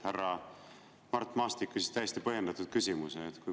Härra Mart Maastik küsis täiesti põhjendatud küsimuse.